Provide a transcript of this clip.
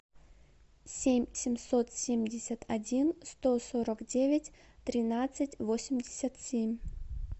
семь семьсот семьдесят один сто сорок девять тринадцать восемьдесят семь